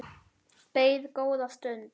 Beið góða stund.